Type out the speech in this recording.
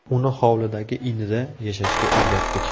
Uni hovlidagi inida yashashga o‘rgatdik.